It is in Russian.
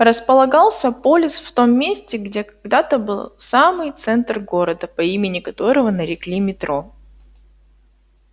располагался полис в том месте где когда-то был самый центр города по имени которого нарекли метро